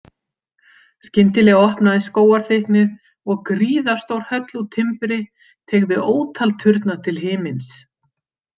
Skyndilega opnaðist skógarþykknið og gríðarstór höll úr timbri teygði ótal turna til himins.